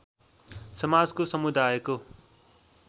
समाजको समुदायको